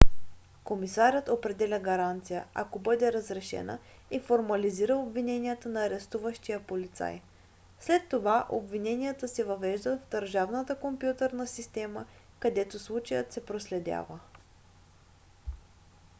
комисарят определя гаранция ако бъде разрешена и формализира обвиненията на арестуващия полицай. след това обвиненията се въвеждат в държавната компютърна система където случаят се проследява